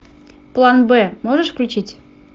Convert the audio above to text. план б можешь включить